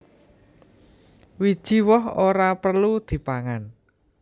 Wiji woh ora perlu dipangan